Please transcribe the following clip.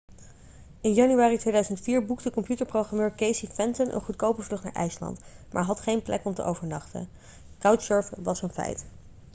in januari 2004 boekte computerprogrammeur casey fenton een goedkope vlucht naar ijsland maar had geen plek om te overnachten couchsurfen was een feit